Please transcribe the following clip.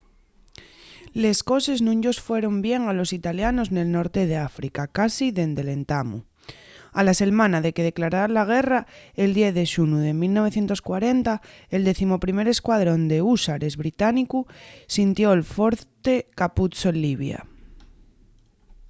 les coses nun-yos fueron bien a los italianos nel norte d'áfrica casi dende l'entamu a la selmana de que declararan la guerra el 10 de xunu de 1940 el 11er escuadrón d'húsares británicu sitió'l forte capuzzo en libia